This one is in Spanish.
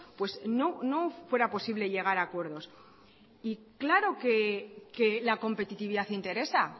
pues no fuera posible llegar a acuerdos y claro que la competitividad interesa